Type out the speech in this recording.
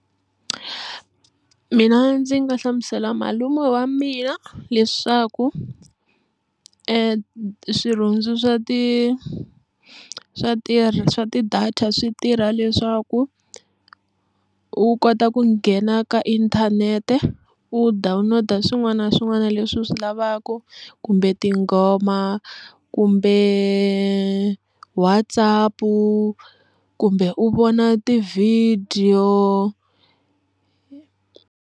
Mina ndzi nga hlamusela malume wa mina leswaku swirhundzo swa ti swa ti swa ti-data swi tirha leswaku u kota ku nghena ka inthanete u download swin'wana na swin'wana leswi u swi lavaka kumbe tinghoma kumbe WhatsApp kumbe u vona ti-video.